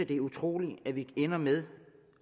det er utroligt at vi ender med